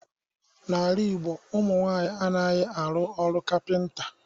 N'ala Ịgbo, ụmụ nwaanyị anaghị arụ ọrụ kapịnta